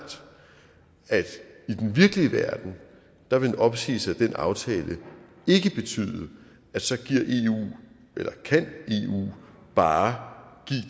at i den virkelige verden vil en opsigelse af den aftale ikke betyde at så kan eu bare